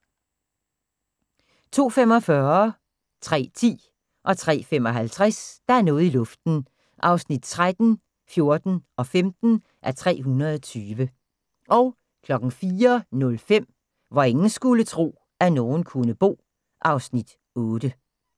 02:45: Der er noget i luften (13:320) 03:10: Der er noget i luften (14:320) 03:35: Der er noget i luften (15:320) 04:05: Hvor ingen skulle tro, at nogen kunne bo (Afs. 8)